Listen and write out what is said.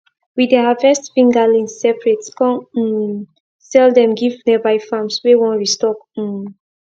we dey harvest fingerlings separate come um sell them give nearby farms wey wan restock um